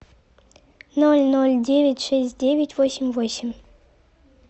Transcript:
ноль ноль девять шесть девять восемь восемь